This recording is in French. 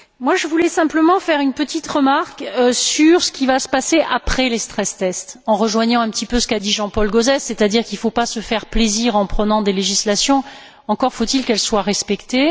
Je voudrais simplement faire une petite remarque sur ce qu'il va se passer après les en rejoignant un petit peu ce qu'a dit Jean Paul Gauzès, c'est à dire qu'il ne faut pas se faire plaisir en adoptant des législations, encore faut il qu'elles soient respectées.